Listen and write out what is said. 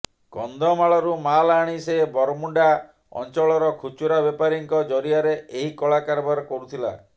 କନ୍ଧମାଳରୁ ମାଲ୍ ଆଣି ସେ ବରମୁଣ୍ଡା ଅଞ୍ଚଳର ଖୁଚୁରା ବେପାରୀଙ୍କ ଜରିଆରେ ଏହି କଳା କାରବାର କରୁଥିଲା